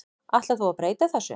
Ætlar þú að breyta þessu?